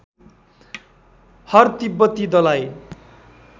हर तिब्बती दलाइ